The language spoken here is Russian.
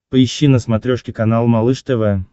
поищи на смотрешке канал малыш тв